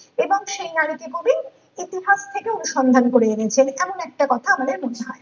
এবং সেই নারীতে কবি ইতিহাস থেকে অনুসন্ধান করে এনেছিলেন এইখানে একটা কথা আমাদের মনে হয়